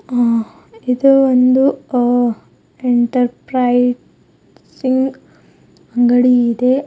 ಹ ಇದು ಒಂದು ಆ ಎಂಟರ್ಪ್ರೈಸಿಂಗ್ ಅಂಗಡಿ ಇದೆ.